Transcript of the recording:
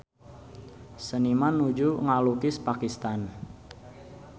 Seniman nuju ngalukis Pakistan